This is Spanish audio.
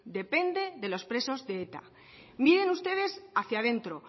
depende de los presos de eta miren ustedes hacia dentro